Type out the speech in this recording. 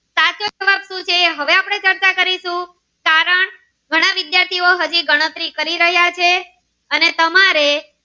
કરીશુ કારણ ઘણા વિદ્યાર્થો નો હાજી ગણતરી કરી રહ્યા છે અને તમારે.